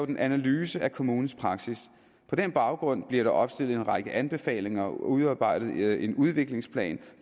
en analyse af kommunens praksis på den baggrund bliver der opstillet en række anbefalinger og udarbejdet en udviklingsplan